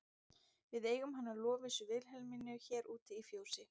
Við eigum hana Lovísu Vilhelmínu hér úti í fjósi.